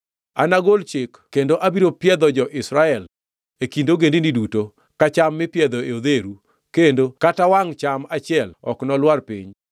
“Anagol chik kendo abiro piedho jo-Israel, e kind ogendini duto, ka cham mipiedho e odheru, kendo kata wangʼ cham achiel ok nolwar piny.